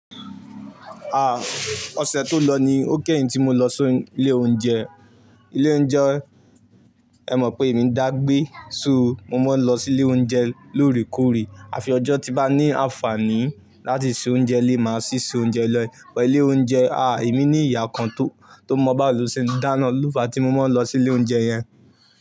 Ah! Ọ̀sẹ̀ tó lọ ni ó kẹ́yìn tí mo lọ sí ilé oúnjẹ. Ilé oúnjẹ, ẹ mọ̀ pé èmi ń dàgbé so mo máa ń lọ sí ilé oúnjẹ lóòrèkóòrè. Àfi ọjọ́ tí bá ní àǹfààní láti se oúnjẹ lé, máa sì se oúnjẹ lọ́yẹ. Ọ̀pọ̀ ilé oúnjẹ, ah! Èmi ní ìyá kan tó mọ́ bàálo sí i. Dáná, ní ìlú fa tí mo máa ń lọ sí ilé oúnjẹ yẹn.